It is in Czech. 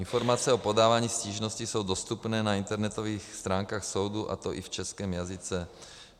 Informace o podávání stížností jsou dostupné na internetových stránkách soudu, a to i v českém jazyce.